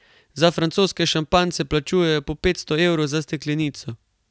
Za francoske šampanjce plačujejo po petsto evrov za steklenico.